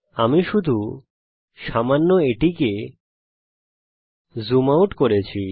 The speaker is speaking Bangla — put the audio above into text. আমি শুধু সামান্য এটিকে জুম আউট করেছি